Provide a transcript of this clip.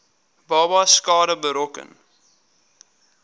babas skade berokken